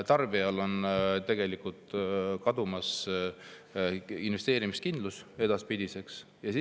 Tarbijal on tegelikult investeerimiskindlus edaspidiseks kadumas.